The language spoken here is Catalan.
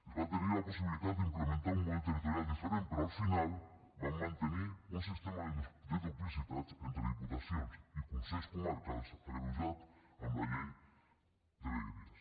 es va tenir la possibilitat d’implementar un model territorial diferent però al final vam mantenir un sistema de duplicitats entre diputacions i consells comarcals agreujat amb la llei de vegueries